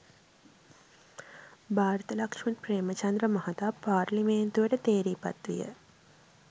භාරත ලක්ෂ්මන් ප්‍රේමචන්ද්‍ර මහතා පාර්ලිමේන්තුවට තේරී පත්විය